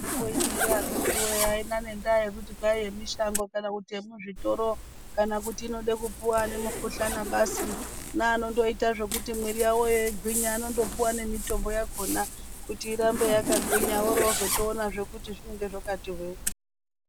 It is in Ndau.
Mitombo ineyi akitiwoye aina nenda yekuti kwai yemishango kana yemuzvitoro kana kuti inode kupuwa anae mukhuhlana basa neanondoita zvekuti mwiri yawoyo igwinye anondopuwa nemitombo yakona kuti irambe yakagwinya orozotoona zvee kuti zvinenge zvakati hwee.